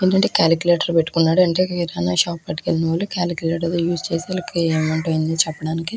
అంటే క్యాలుకులటర్ పెట్టుకున్నాడు అంటే కిరాణా షాప్ పెట్టుకున్నాడు క్యాలుకులటర్ యూస్ చేస్తున్నాడు ఇంకా ఏంవుంటాయి చెప్పడానికి --